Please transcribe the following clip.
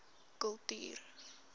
kultuur